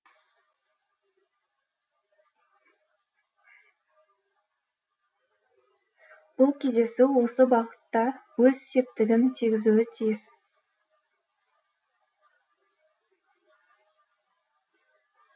бұл кездесу осы бағытта өз септігін тигізуі тиіс